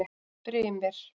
Brimir